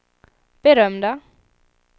berömda